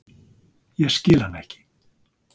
Ég skil hann ekki.